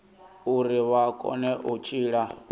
uri vha kone u tshila